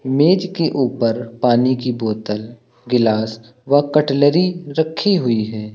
मेज के ऊपर पानी की बोतल ग्लास व कटलरी रखी हुई है।